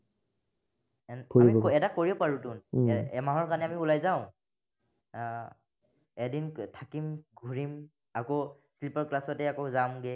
এমাহৰ কাৰনে আমি ওলাই যাওঁ আহ এদিন থাকিম, ঘূৰিম আকৌ sleeper class তে আকৌ যামগে